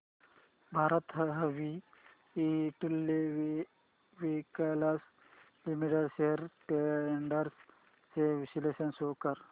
Bharat heavy electricals limited shares trends चे विश्लेषण show कर